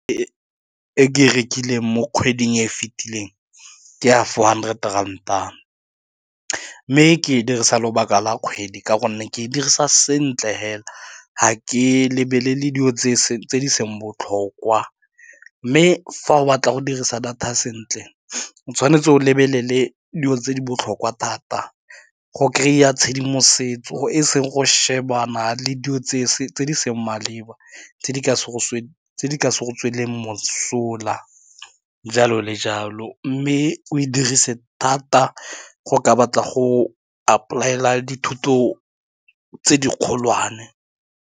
E ke rekileng mo kgweding e fetileng, ke a four hundred rand-a, mme ke dirisa lobaka la kgwedi ka gonne ke dirisa sentle fela, ga ke lebelele dilo tse di seng botlhokwa, mme fa o batla go dirisa data sentle o tshwanetse o lebelele dilo tse di botlhokwa thata go kry-a tshedimosetso e seng go shebana le dilo tse e seng maleba tse di ka se go tse di ka se go tsweleng mosola jalo le jalo, mme o e dirise thata go ka batla go apply-ela dithuto tse di kgolwane.